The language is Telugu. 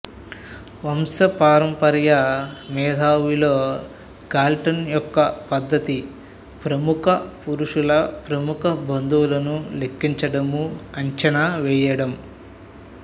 వంశపారంపర్య మేధావిలో గాల్టన్ యొక్క పద్ధతి ప్రముఖ పురుషుల ప్రముఖ బంధువులను లెక్కించడం అంచనా వేయడం